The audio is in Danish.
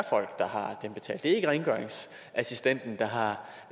ikke rengøringsassistenten der har